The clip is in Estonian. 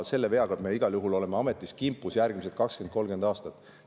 Selle veaga me igal juhul oleme kimpus järgmised paar-kolmkümmend aastat.